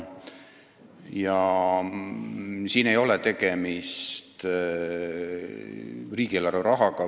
Siin ei ole tegemist riigieelarve rahaga.